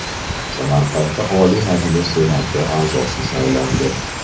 Samarqandda Oliy Majlis Senati a’zosi saylandi.